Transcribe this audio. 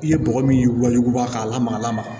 I ye bɔgɔ min waɲuguba k'a lamaga lamaga